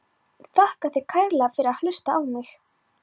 Þakka þér kærlega fyrir að hlusta á mig!